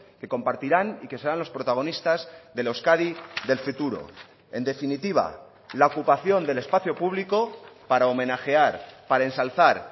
que compartirán y que serán los protagonistas de la euskadi del futuro en definitiva la ocupación del espacio público para homenajear para ensalzar